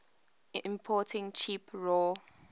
importing cheap raw